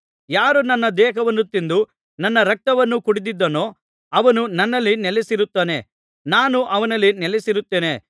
ಯಾರು ನನ್ನ ದೇಹವನ್ನು ತಿಂದು ನನ್ನ ರಕ್ತವನ್ನು ಕುಡಿದಿದ್ದಾನೋ ಅವನು ನನ್ನಲ್ಲಿ ನೆಲೆಸಿರುತ್ತಾನೆ ನಾನು ಅವನಲ್ಲಿ ನೆಲೆಸಿರುತ್ತೇನೆ